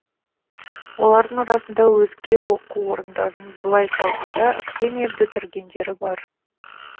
олардың арасында өзге оқу орындарын былай қойғанда академия бітіргендері бар